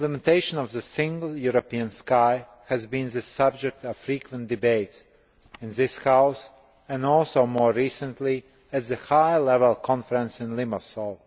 The implementation of the Single European Sky has been the subject of frequent debates in this House and also, more recently, at the High Level Conference in Limassol.